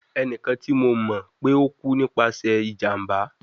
Ẹnikan ti mo mọ pe o ku nipasẹ ijamba